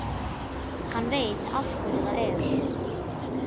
Það gat þá ekki verið svo slæmt.